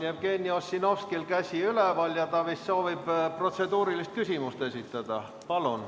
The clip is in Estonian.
Jevgeni Ossinovskil on käsi üleval, ta vist soovib protseduurilist küsimust esitada.